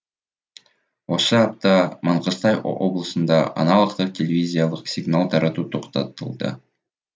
осы апта маңғыстау облысында аналогтық телевизиялық сигнал тарату тоқтатылды